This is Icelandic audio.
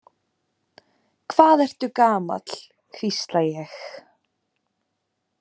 Hvað ertu gamall, hvísla ég.